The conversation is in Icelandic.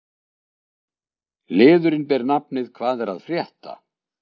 Liðurinn ber nafnið: Hvað er að frétta?